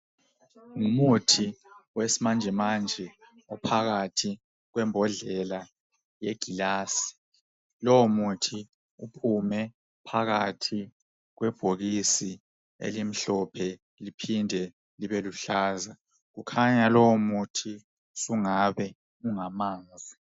Ngumuthi owesimanjemanje ophakathi kwembodlela eyegilazi lowo muthi ume phakathi kwebhokisi elimhlophe liphinde libe luhlaza kukhanya lowo muthi sungabe ungamanzi.